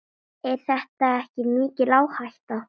Er þetta ekki mikil áhætta?